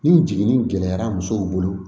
Ni jiginni gɛlɛyara musow bolo